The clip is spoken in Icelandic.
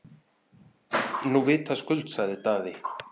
Nú vitaskuld, sagði Daði.